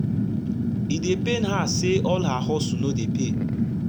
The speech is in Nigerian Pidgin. e dey pain her say all her hustle no dey pay